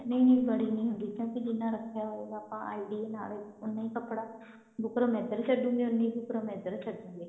ਨਹੀ ਨਹੀ ਬੜੀ ਨੀ ਹੁੰਦੀ ਕਿਉਂਕਿ ਜਿੰਨਾ ਰੱਖਿਆ ਹੋਊਗਾ ਆਪਾਂ idea ਨਾਲ ਉੰਨਾ ਹੀ ਕੱਪੜਾ ਬੁਕਰਮ ਇੱਧਰ ਛੱਡਾਂਗੇ ਉੰਨੀ ਹੀ ਬੁਕਰਮ ਇੱਧਰ ਛੱਡਾਂਗੇ